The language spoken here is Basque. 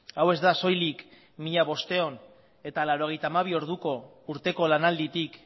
hau ez da soilik mila bostehun eta laurogeita hamabi orduko urteko lanalditik